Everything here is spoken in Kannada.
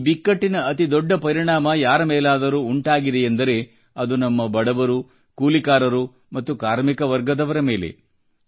ಈ ಬಿಕ್ಕಟ್ಟಿನ ಅತಿ ದೊಡ್ಡ ಪರಿಣಾಮ ಯಾರ ಮೇಲಾದರೂ ಉಂಟಾಗಿದೆಯೆಂದರೆ ಅದು ನಮ್ಮ ಬಡವರು ಕೂಲಿಕಾರರು ಮತ್ತು ಕಾರ್ಮಿಕ ವರ್ಗದವರ ಮೇಲೆ